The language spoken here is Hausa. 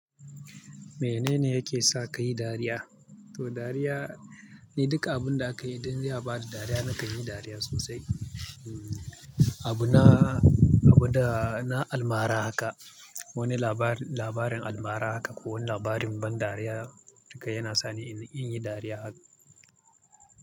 Menene yake sa ka yi dariya? To dariya, ni duka abun da aka yi dan ya ba da dariya na kan yi dariya sosai. Abu na, abun da na almara haka, wani labari, labarin almara haka ko wani labarin ban dariya duka yana sa ni in yi dariya.